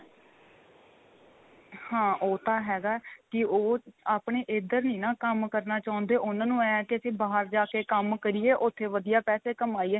ਹਾਂ ਉਹ ਤਾਂ ਹੈਗਾ ਕੀ ਉਹ ਆਪਣੇ ਇੱਧਰ ਨੀ ਨਾ ਕੰਮ ਕਰਨਾ ਚਾਹੁੰਦੇ ਉਨ੍ਹਾਂ ਨੂੰ ਏ ਆ ਕਿ ਅਸੀਂ ਬਾਹਰ ਜਾ ਕੇ ਕੰਮ ਕਰੀਏ ਉੱਥੇ ਵਧੀਆ ਪੈਸੇ ਕਮਾਈਏ